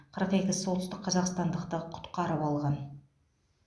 қырық екі солтүстік қазақстандықты құтқарып алған